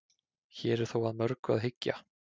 hér er þó að mörgu að hyggja